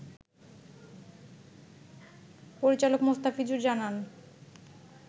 পরিচালক মোস্তাফিজুর জানান